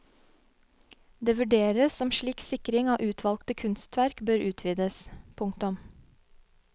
Det vurderes om slik sikring av utvalgte kunstverk bør utvides. punktum